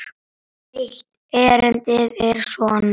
Eitt erindið er svona